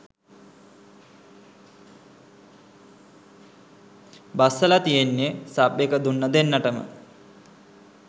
බස්සල තියෙන්නේ සබ් එක දුන්න දෙන්නටම